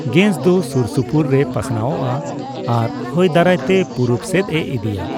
Gas ᱫᱚ ᱥᱩᱨ ᱥᱩᱯᱩᱨ ᱨᱮ ᱯᱟᱥᱱᱟᱣᱚᱜᱼᱟ ᱟᱨ ᱦᱚᱭ ᱫᱟᱨᱟᱭ ᱛᱮ ᱯᱩᱨᱩᱵᱽ ᱥᱮᱫᱼᱮ ᱤᱫᱤᱭᱟ ᱾